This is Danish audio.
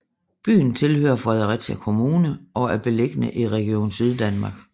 Byen tilhører Fredericia Kommune og er beliggende i Region Syddanmark